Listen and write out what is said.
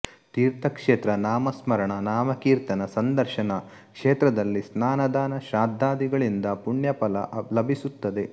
ತೀರ್ಥಕ್ಷೇತ್ರ ನಾಮಸ್ಮರಣ ನಾಮಕೀರ್ತನ ಸಂದರ್ಶನ ಕ್ಷೇತ್ರದಲ್ಲಿ ಸ್ನಾನದಾನ ಶ್ರಾದ್ಧಾದಿಗಳಿಂದ ಪುಣ್ಯಫಲ ಲಭಿಸುತ್ತದೆ